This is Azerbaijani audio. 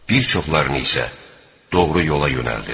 Bir çoxlarını isə doğru yola yönəldir.